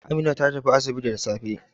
Amina ta tafi asibiti da safe.